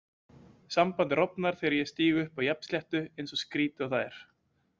Sambandið rofnar þegar ég stíg upp á jafnsléttu, eins skrýtið og það er.